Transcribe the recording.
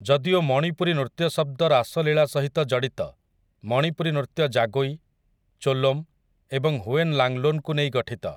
ଯଦିଓ ମଣିପୁରୀ ନୃତ୍ୟ ଶବ୍ଦ ରାସ ଲୀଲା ସହିତ ଜଡି଼ତ, ମଣିପୁରୀ ନୃତ୍ୟ ଜାଗୋଇ, ଚୋଲୋମ୍ ଏବଂ ହୁଏନ୍ ଲାଙ୍ଗ୍‌ଲୋନ୍‌କୁ ନେଇ ଗଠିତ ।